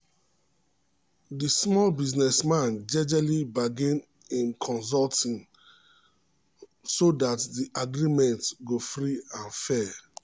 the small business man jejely bargain him consulting um so that the agreement go free and fair